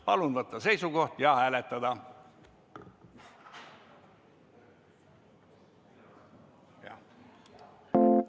Palun võtta seisukoht ja hääletada!